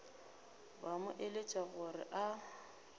ba mo eletša gore a